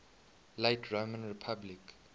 late roman republic